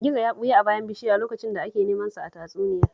Gizo ya ɓuya a bayan bishiya lokacin da ake neman sa a tatsuniyar